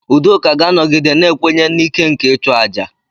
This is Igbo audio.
Udoka ga-anọgide na-ekwenye na ike nke ịchụ aja.